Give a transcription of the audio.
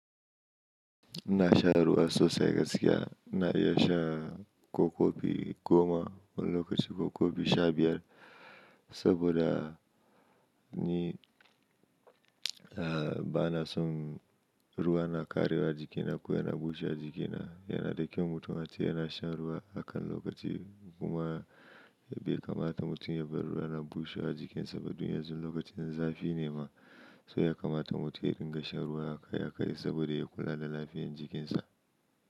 Ina sha ruwa sosai gaskiya. Ina iya sha ko kofi goma wani lokaci ko kofi sha biyar saboda ni ah bana son ruwa na karaye wa jikina ko yana bushe wa jikina. Yana da kyau mutum ace yana shan ruwa akan lokaci kuma bai kamata mutum ya bar ruwa na bushe wa a jikin sa ba. Dun yanzu lokacin zafi ne ma, so ya kamata mutum ya dinga shan ruwa akai akai saboda ya kula da lafiyan jikinsa.